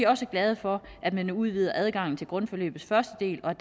også glade for at man udvider adgangen til grundforløbets første del og